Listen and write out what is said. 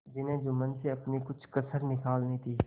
जिन्हें जुम्मन से अपनी कुछ कसर निकालनी थी